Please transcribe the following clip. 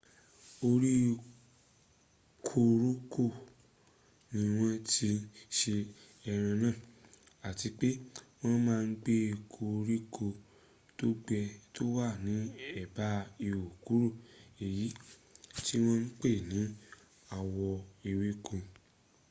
orí koróko ni wọ́n tí ń se eré náà àti pé wọ́n má ń gé koríko tó wà ní ẹ̀bá ihò kúrú èyí tí wọ́n ń pè ní àwọ̀ ewéko